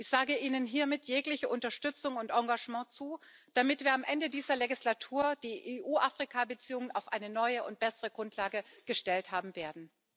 Ich sage Ihnen hiermit jegliche Unterstützung und Engagement zu, damit wir am Ende dieser Wahlperiode die EU Afrika Beziehungen auf eine neue und bessere Grundlage gestellt haben werden.